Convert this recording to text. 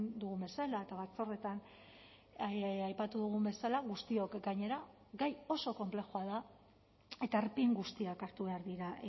dugun bezala eta batzordeetan aipatu dugun bezala guztiok gainera gai oso konplexua da eta erpin guztiak hartu behar dira